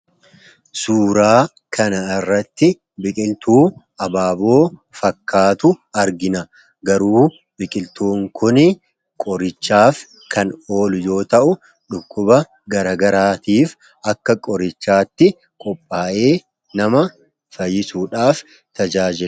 suuraa kana irratti biqiltuu abaaboo fakkaatu argina garuu biqiltuun kun qorichaaf kan ooluu yoo ta'u dhukkuba garagaraatiif akka qorichaatti qophaa'ee nama fayyisuudhaaf tajaajiludha